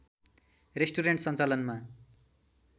restaurant सञ्चालनमा